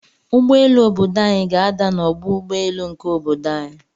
Ụgbọelu obodo anyi ga ada na ọgbọ ụgbọ elu nke obodo anyi.